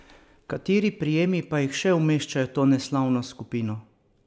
Kateri prijemi pa jih še umeščajo v to neslavno skupino?